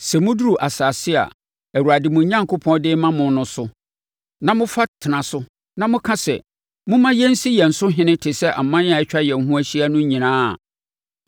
Sɛ moduru asase a Awurade mo Onyankopɔn de rema mo no so na mofa tena so na moka sɛ. “Momma yɛnsi yɛn so ɔhene te sɛ aman a atwa yɛn ho ahyia no nyinaa a,”